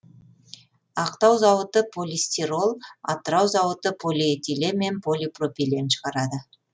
ақтау зауыты полистирол атырау зауыты полиэтилен мен полипропилен шығарады